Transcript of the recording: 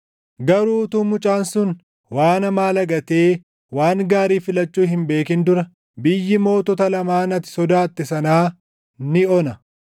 Garuu utuu mucaan sun waan hamaa lagatee waan gaarii filachuu hin beekin dura biyyi mootota lamaan ati sodaatte sanaa ni ona.